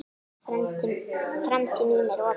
Framtíð mín er opin.